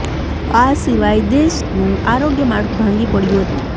આ સિવાય દેશનું આરોગ્ય માળખું ભાંગી પડ્યું હતું